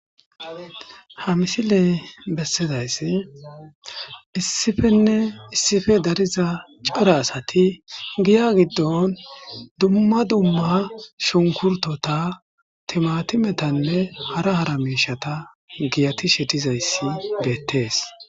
ha misiley bessidayssi issifenne issife dariza cara asati giya giddon dumma dumma shunkurtota timatimetanne hara hara miishata giyatishe dizayssi beettees